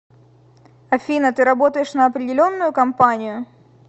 афина ты работаешь на определенную компанию